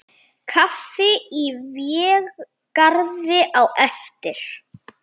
Kaffi í Végarði á eftir.